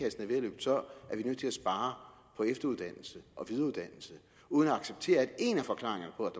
at løbe tør at vi nødt til at spare på efteruddannelse og videreuddannelse uden at acceptere at en af forklaringerne på